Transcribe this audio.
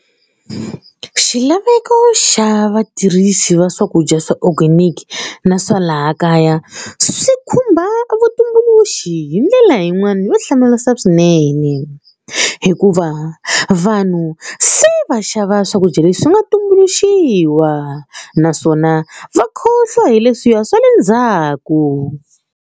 Xilaveko xa vatirhisi va swakudya swa organic na swa laha kaya swi khumba vutumbuluxi hi ndlela yin'wana yo hlamarisa swinene hikuva vanhu se va xava swakudya leswi nga tumbuluxiwa naswona va khohlwa hi leswiya swa le ndzhaku.